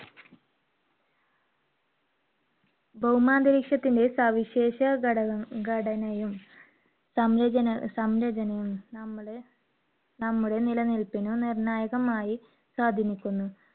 ഭൗമാന്തരീക്ഷത്തിന്റെ സവിശേഷ ഘടക~ഘടനയും, സംരചന~സംരചനയും, നമ്മുടെ, നമ്മുടെ നിലനിൽപ്പിന് നിർണായകമായി സ്വാധീനിക്കുന്നു.